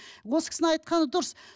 осы кісінің айтқаны дұрыс